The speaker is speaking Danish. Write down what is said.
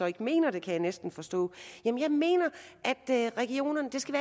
ikke mener det kan jeg næsten forstå jeg mener at regionerne skal